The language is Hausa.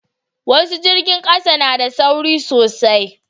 wasu jirgin ƙasa na da sauri sosai